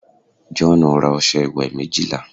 joonu ra ọsẹ iwe méjìlá